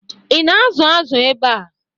Ị na-azụ azụ ebe a?